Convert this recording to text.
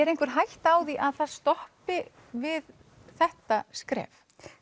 er einhver hætta á því að það stoppi við þetta skref